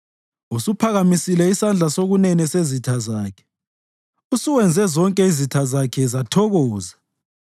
Usuphakamisile isandla sokunene sezitha zakhe; usuwenze zonke izitha zakhe zathokoza.